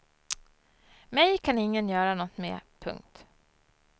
Mig kan ingen göra något med. punkt